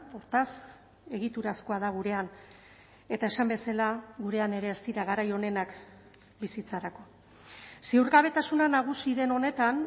hortaz egiturazkoa da gurean eta esan bezala gurean ere ez dira garai onenak bizitzarako ziurgabetasuna nagusi den honetan